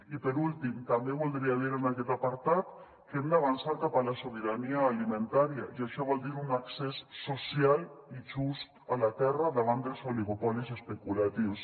i per últim també voldria dir en aquest apartat que hem d’avançar cap a la sobirania alimentària i això vol dir un accés social i just a la terra davant dels oligopolis especulatius